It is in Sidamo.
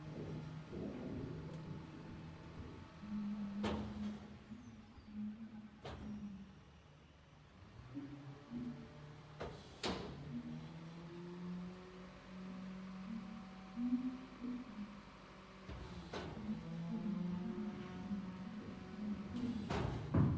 tenne misile aana noorina tini misile xawissannori maati yinummoro faccaname baatto dubbu haqqe batidhinnotte giddo weesse noottina badalla nootti leelittanno